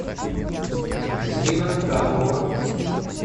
екатерина карпова